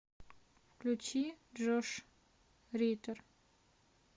включи джош риттер